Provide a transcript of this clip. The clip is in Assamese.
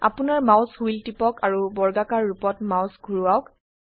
আপোনাৰ মাউস হুইল টিপক আৰু বৰ্গাকাৰ ৰুপত মাউস ঘোৰাওক